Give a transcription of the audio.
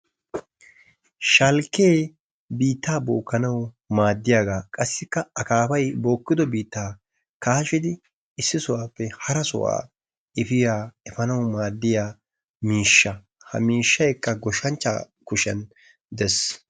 Shalkkee biittaa bookanawu maaddiyaagaa qasikka akaafay bookkido biittaa kaashshidi issi sohuwaappe hara sohuwaa efiyaa efanawu maaddiyaa miishsha. ha miishshaykka goshshanchchaa kushiyaan dees.